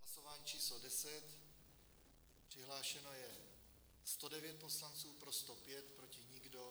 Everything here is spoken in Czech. Hlasování číslo 10, přihlášeno je 109 poslanců, pro 105, proti nikdo.